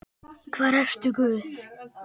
Hvar ertu Guð?